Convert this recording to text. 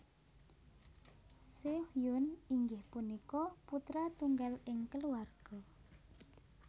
Seohyoen inggih punika putra tunggal ing keluarga